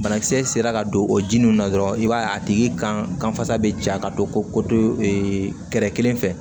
Banakisɛ sera ka don o jininw na dɔrɔn i b'a ye a tigi kan fasa bɛ ja ka don ko kɛrɛ kelen fɛ